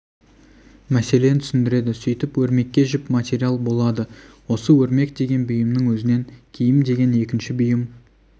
мәселен түсіндіреді сөйтіп өрмекке жіп материал болады осы өрмек деген бұйымның өзінен киім деген екінші бұйым